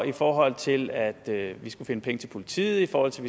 i forhold til at vi skulle finde penge til politiet i forhold til